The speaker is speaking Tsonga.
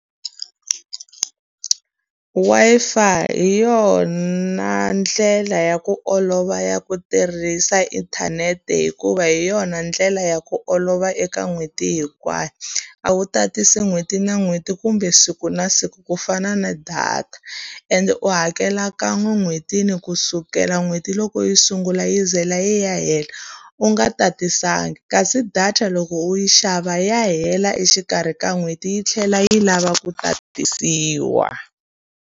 Wi-Fi hi yona ndlela ya ku olova ya ku tirhisa inthanete hikuva hi yona ndlela ya ku olova eka n'hweti hinkwayo. A wu tatisi n'hweti na n'hweti kumbe siku na siku ku fana na data, ende u hakela kan'we en'hwetini ku sukela n'hweti loko yi sungula yi ze la yi ya hela. U nga tatisanga. Kasi data loko u yi xava ya hela exikarhi ka n'hweti yi tlhela yi lava ku tatisiwa.